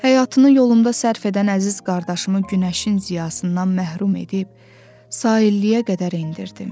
Həyatını yolunda sərf edən əziz qardaşımı günəşin ziyasından məhrum edib sahilliyə qədər endirdim.